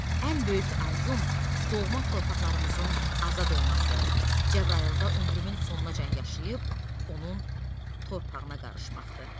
Ən böyük arzum doğma torpaqlarımızın azad olması, Cəbrayılda ömrümün sonuna qədər yaşayıb onun torpağına qarışmaqdır.